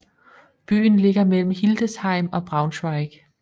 Byen ligger mellem Hildesheim og Braunschweig